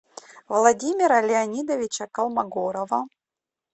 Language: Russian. владимира леонидовича колмогорова